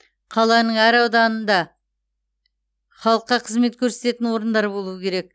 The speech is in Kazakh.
қаланың әр ауданында халыққа қызмет көрсететін орындар болуы керек